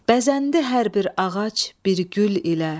Bəzəndi hər bir ağac bir gül ilə.